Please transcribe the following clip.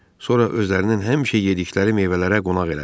Sonra özlərinin həmişə yediyi meyvələrlə qonaq elədi.